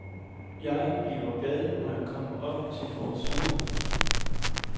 Jeg bliver glad, når jeg kommer op til vores sommerhus.